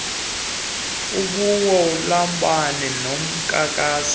ubiwo lombane lonakalisa